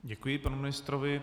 Děkuji panu ministrovi.